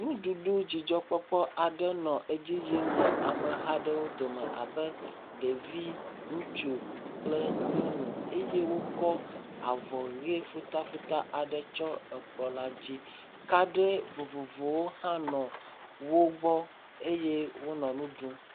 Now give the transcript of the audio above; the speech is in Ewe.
Nuɖuɖu dzidzɔkpɔkpɔ aɖe nɔ edzi yim le ame ha aɖewo dome abe ɖevi, ŋutsu kple nyɔnu eye wokɔ avɔ ʋe futafuta aɖe tsɔ ekplɔ la dzi. Kadi vovovowo hã nɔ wo gbɔ eye wonɔ nu ɖum.